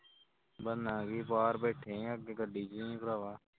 ਬਣਨਾ ਕੀ ਬਾਹਰ ਬੈਠੇ ਆਂ ਅੱਗੇ ਗੱਡੀ ਵਿੱਚ ਹੀ ਹਾਂ ਭਰਾਵਾਂ